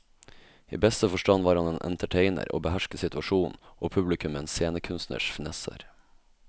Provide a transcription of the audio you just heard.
I beste forstand var han entertainer og behersket situasjonen og publikum med en scenekunstners finesser.